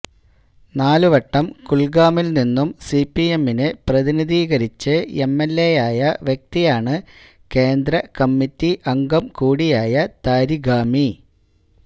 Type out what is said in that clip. നാല് വട്ടം കുല്ഗാമില് നിന്നും സിപിഎമ്മിനെ പ്രതിനിധീകരിച്ച് എംഎല്എയായ വ്യക്തിയാണ് കേന്ദ്രകമ്മിറ്റി അംഗം കൂടിയായ താരിഗാമി